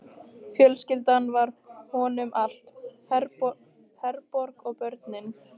Fjölskyldan var honum allt, Herborg og börnin.